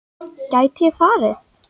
Gæti ég farið?